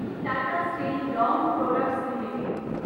Tata steel long products limited